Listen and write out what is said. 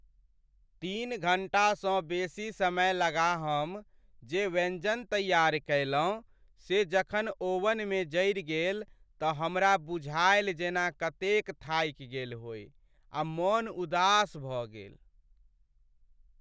तीन घण्टासँ बेसी समय लगा हम जे व्यञ्जन तैयार कयलहुँ से जखन ओवनमे जरि गेल तँ हमरा बुझायल जेना कतेक थाकि गेल होइ आ मन उदास भऽ गेल।